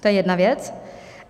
To je jedna věc.